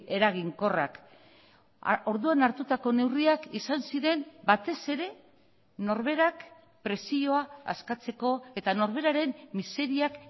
eraginkorrak orduan hartutako neurriak izan ziren batez ere norberak presioa askatzeko eta norberaren miseriak